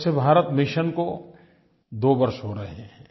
स्वच्छ भारत मिशन को 2 वर्ष हो रहे हैं